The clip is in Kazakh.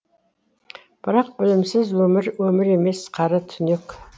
бірақ білімсіз өмір өмір емес қара түнек